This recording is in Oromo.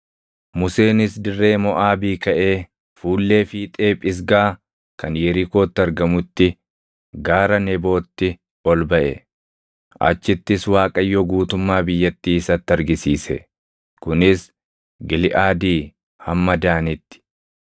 Museenis dirree Moʼaabii kaʼee fuullee fiixee Phisgaa kan Yerikootti argamutti, gaara Nebootti ol baʼe. Achittis Waaqayyo guutummaa biyyattii isatti argisiise; kunis Giliʼaadii hamma Daanitti,